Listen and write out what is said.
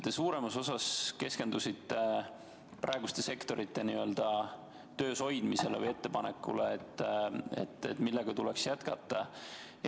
Te suuremas osas keskendusite praeguste sektorite töös hoidmisele ja ettepanekule, millega tuleks jätkata.